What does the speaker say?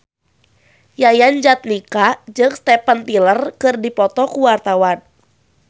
Yayan Jatnika jeung Steven Tyler keur dipoto ku wartawan